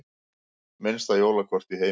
Minnsta jólakort í heimi